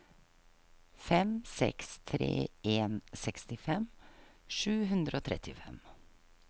fem seks tre en sekstifem sju hundre og trettifem